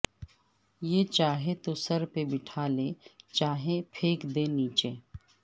یہ چاہے تو سر پہ بٹھا لے چاہے پھینک دے نیچے